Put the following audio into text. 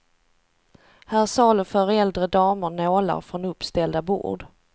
Här saluför äldre damer nålar från uppställda bord.